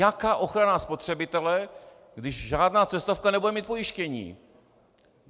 Jaká ochrana spotřebitele, když žádná cestovka nebude mít pojištění?